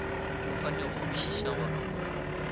kgone go kwešiša gore o